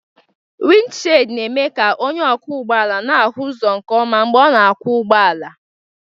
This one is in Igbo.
Windishid na-eme ka onye ọkwọ ụgbọala na-ahụ ụzọ nke ọma mgbe ọ na-akwọ ụgbọala.